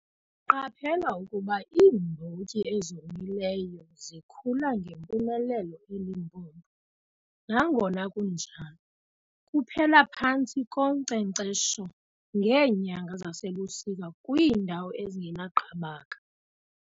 Qaphela ukuba iimbotyi ezomileyo zikhula ngempumelelo eLimpopo, nangona kunjalo, kuphela phantsi konkcenkcesho ngeenyanga zasebusika kwiindawo ezingenaqabaka.